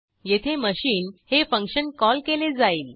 येथे मशीन हे function call केले जाईल